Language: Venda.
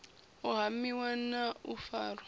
u hamiwa na u farwa